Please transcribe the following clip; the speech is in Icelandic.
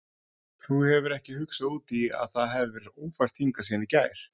Þú hefur ekki hugsað út í að það hefur verið ófært hingað síðan í gær?